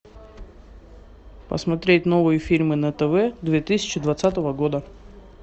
посмотреть новые фильмы на тв две тысячи двадцатого года